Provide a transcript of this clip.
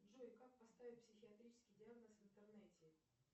джой как поставить психиатрический диагноз в интернете